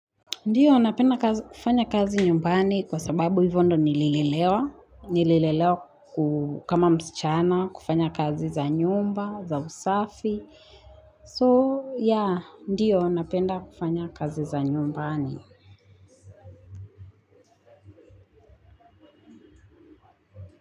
Ndio, napenda kufanya kazi nyumbani kwa sababu hivyo ndo nililelewa, nililelewa ku kama msichana, kufanya kazi za nyumba, za usafi, ndio, napenda kufanya kazi za nyumbani.